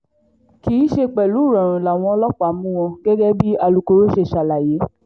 kì í ṣe pẹ̀lú ìrọ̀rùn làwọn ọlọ́pàá mú wọn gẹ́gẹ́ bí alūkkoro ṣe ṣàlàyé